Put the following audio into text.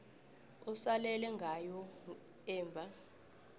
osalele ngayo emva